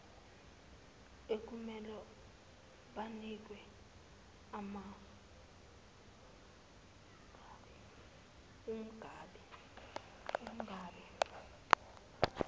ekumele banikwe umangabe